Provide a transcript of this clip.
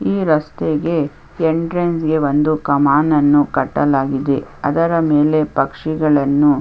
ಈ ರಸ್ತೆಯಲ್ಲಿ ಇಂಟ್ರಾನ್ಸಗೆ ಒಂದು ಕಮಾನ್ ಅನ್ನು ಕಟ್ಟಲಾಗಿದೆ ಅದರ ಮೇಲೆ ಪಕ್ಷಿಗಳ್ಳನ್ನು --